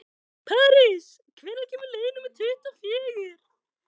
París, hvenær kemur leið númer tuttugu og fjögur?